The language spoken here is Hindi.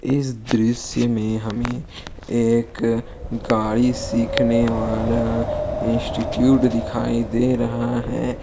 इस दृश्य में हमें एक गाड़ी सीखने वाला इंस्टीट्यूट दिखाई दे रहा है।